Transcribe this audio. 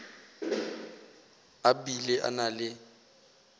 a bile a na le